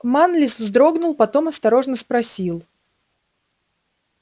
манлис вздрогнул потом осторожно спросил